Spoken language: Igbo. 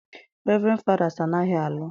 Reverend Father's anaghị alụ.